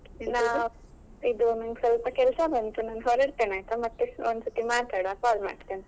ಇದು ನಂಗ್ ಸ್ವಲ್ಪ ಕೆಲ್ಸ ಬಂತು ನಾನ್ ಹೊರಡ್ತೇನೆ ಆಯ್ತಾ ಮತ್ತೆ ಒಂದ್ ಸತಿ ಮಾತಾಡ್ವ call ಮಾಡ್ತೇನೆ.